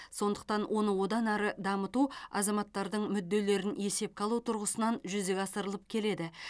сондықтан оны одан әрі дамыту азаматтардың мүдделерін есепке алу тұрғысынан жүзеге асырылып келеді